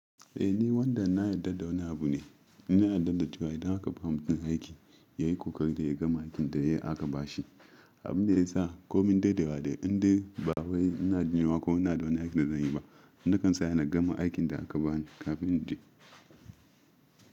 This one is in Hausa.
Eh ni wanda na yarda da wani abu ne, nina yarda da cewa idan aka bani wani aikin yayi kokari da ya gama aikin da aka ba shi. Abin da ya sa komin dadewa wa dai inda bawai ina jinwa ko ina don aikin da zan yi ba. Ni kan tsaya na gama aikin da aka bani kafin in je.